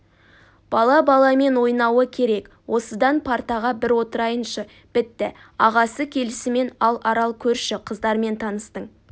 бала баламен ойнауы керек осыдан партаға бір отырайыншы бітті ағасы келісімен ал арал көрші қыздармен таныстың